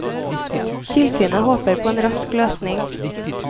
Tilsynet håper på en rask løsning.